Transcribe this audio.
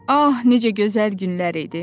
"Ah, necə gözəl günlər idi.